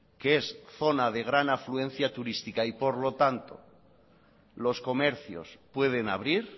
que es zona de gran afluencia turística y por lo tanto los comercios pueden abrir